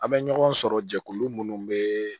An bɛ ɲɔgɔn sɔrɔ jɛkulu munnu bɛ